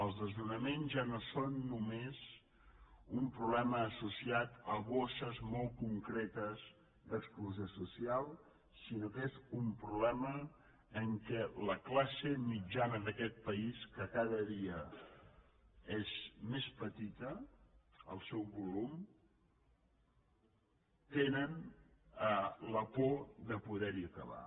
els desnonaments ja no són només un problema associat a bosses molt concretes d’exclusió social sinó que és un problema en què la classe mitjana d’aquest país que cada dia és més petit el seu volum té la por de poder acabar